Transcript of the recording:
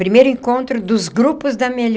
Primeiro encontro dos grupos da